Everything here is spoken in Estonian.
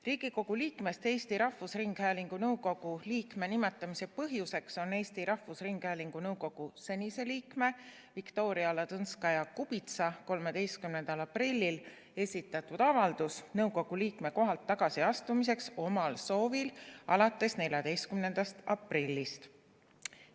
Riigikogu liikmest Eesti Rahvusringhäälingu nõukogu liikme nimetamise põhjuseks on Eesti Rahvusringhäälingu nõukogu senise liikme Viktoria Ladõnskaja-Kubitsa 13. aprillil esitatud avaldus nõukogu liikme kohalt omal soovil tagasiastumiseks alates 14. aprillist.